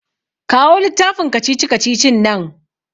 Kawo littafin kacici-kacicin nan.